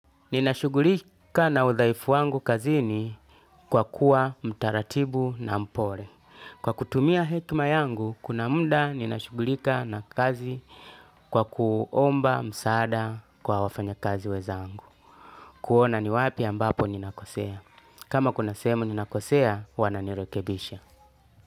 Ninashugulikia na udhaifu wangu kazini kwa kuwa mtaratibu na mpole. Kwa kutumia hekma yangu, kuna munda ninashugulika na kazi kwa kuomba msaada kwa wafanya kazi weza angu. Kuona ni wapi ambapo ninakosea. Kama kuna sehemu ninakosea, wananirekebisha.